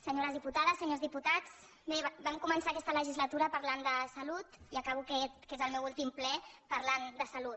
senyores diputades senyors dipu·tats bé vam començar aquesta legislatura parlant de salut i acabo aquest que és el meu últim ple parlant de salut